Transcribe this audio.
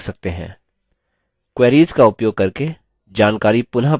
queries का उपयोग करके जानकारी पुनः प्राप्त कर सकते हैं और